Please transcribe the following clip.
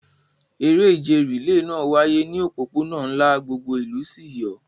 Eré ìje rìléè náà wáyé ní òpópónà ńlá, gbogbo ìlú sì yọ̀.